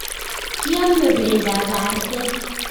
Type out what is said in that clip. Kiame pendoab artet